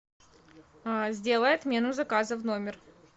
сделай отмену заказа в номер